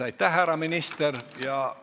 Aitäh, härra minister!